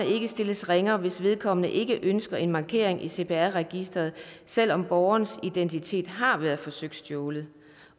ikke stilles ringere hvis vedkommende ikke ønsker en markering i cpr registeret selv om borgerens identitet har været forsøgt stjålet